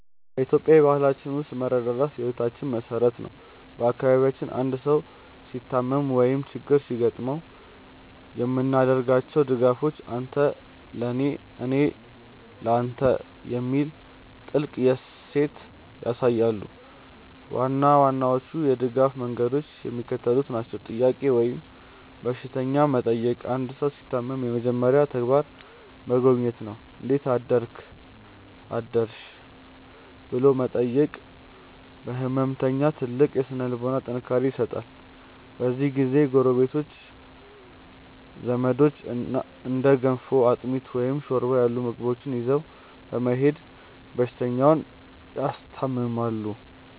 በኢትዮጵያዊ ባህላችን ውስጥ መረዳዳት የሕይወታችን መሠረት ነው። በአካባቢያችን አንድ ሰው ሲታመም ወይም ችግር ሲገጥመው የምናደርጋቸው ድጋፎች "አንተ ለኔ፣ እኔ ለተ" የሚለውን ጥልቅ እሴት ያሳያሉ። ዋና ዋናዎቹ የድጋፍ መንገዶች የሚከተሉት ናቸው፦ "ጥያቄ" ወይም በሽተኛ መጠየቅ አንድ ሰው ሲታመም የመጀመሪያው ተግባር መጎብኘት ነው። "እንዴት አደርክ/ሽ?" ብሎ መጠየቅ ለሕመምተኛው ትልቅ የሥነ-ልቦና ጥንካሬ ይሰጣል። በዚህ ጊዜ ጎረቤቶችና ዘመዶች እንደ ገንፎ፣ አጥሚት፣ ወይም ሾርባ ያሉ ምግቦችን ይዘው በመሄድ በሽተኛውን ያስታምማሉ።